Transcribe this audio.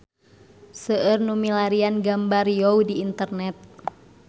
Seueur nu milarian gambar Riau di internet